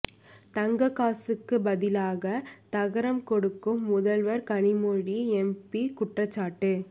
தங்கக் காசுக்கு பதிலாக தகரம் கொடுக்கும் முதல்வர் கனிமொழி எம்பி குற்றச்சாட்டு